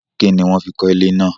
Kínni wọ́n fi kọ́ ilé náà?